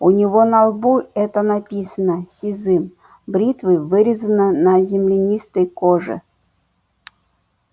у него на лбу это написано сизым бритвой вырезано на земленистой коже